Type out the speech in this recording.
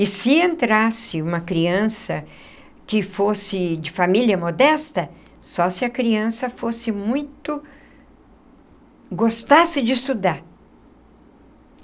E se entrasse uma criança que fosse de família modesta, só se a criança fosse muito... gostasse de estudar.